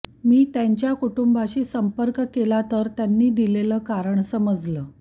मी त्यांच्या कुटुंबाशी संपर्क केला तर त्यांनी दिलेलं कारण समजलं